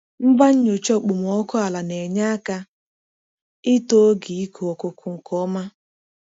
Ngwa nnyocha okpomọkụ ala na-enye aka ịtọ oge ịkụ ọkụkọ nke ọma.